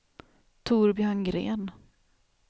Torbjörn Gren